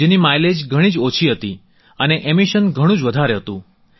જેની માઈલેજ ઘણી જ ઓછી હતી અને એમિશન ઘણું જ વધારે હતું